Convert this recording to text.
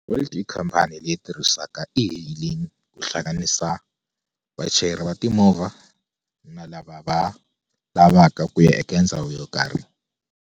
Bolt i khampani leyi tirhisaka ti-hailing ku hlanganisa vachayeri va timovha na lava va lavaka ku ya eka ndhawu yo karhi.